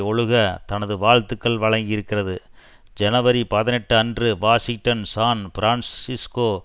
ஒழுக தனது வாழ்த்துக்கள் வழங்கியிருக்கிறது ஜனவரிபதினெட்டுஅன்று வாஷிங்டன் சான் பிரான்ஸ்சிஸ்கோ